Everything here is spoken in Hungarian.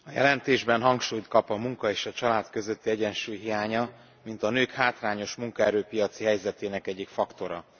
A jelentésben hangsúlyt kap a munka és a család közötti egyensúly hiánya, mint a nők hátrányos munkaerő piaci helyzetének egyik faktora.